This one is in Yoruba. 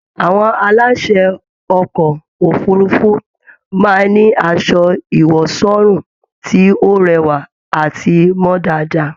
Àwọn aláṣè ọkọ òfurùnfu máa n ní asọ ìwọ̀sọ́rùn tí o rẹwa àti mọ dáadáa